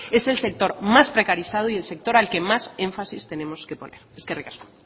es el sector más precarizado y el sector al que más énfasis tenemos que poner eskerrik asko